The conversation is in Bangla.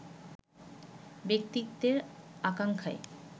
ব্যক্তিত্বে-আকাঙ্ক্ষায়